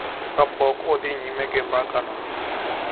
Kapok odhi nyime gi mbakano.